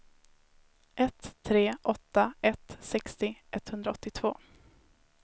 ett tre åtta ett sextio etthundraåttiotvå